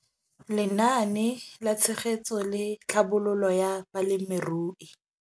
Lenaane la Tshegetso le Tlhabololo ya Balemirui.